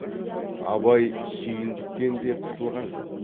абай сүйіндіктен де қысылған жоқ